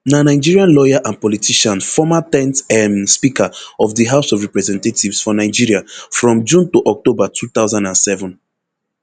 na nigerian lawyer and politician former ten th um speaker of di house of representatives for nigeria from june to october two thousand and seven